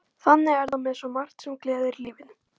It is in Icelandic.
Þannig er það með svo margt sem gleður í lífinu.